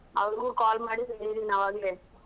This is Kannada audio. ಅವ್ರುಗೂ call ಮಾಡಿ ಹೇಳಿದ್ದೀನಿ ಆವಾಗ್ಲೆ.